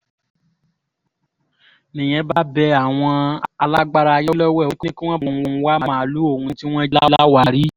nìyẹn bá bẹ àwọn alágbára ayé lọ́wẹ̀ ó ní kí wọ́n bá òun wá màálùú òun tí wọ́n jí láwàárí